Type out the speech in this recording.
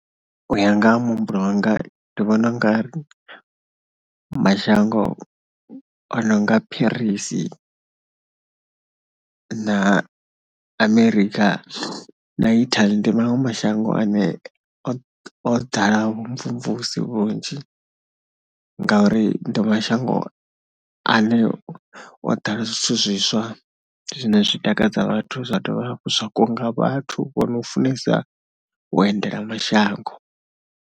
U ya nga ha muhumbulo wanga ndi vhona u nga ri mashango a no nga Paris na Amerika na Italy ndi maṅwe mashango ane o ḓala vhumvumvusi vhunzhi ngauri ndi mashango ane o ḓala zwithu zwiswa zwine zwi takadza vhathu zwa dovha hafhu zwa kunga vhathu vho no u funesa endela mashango.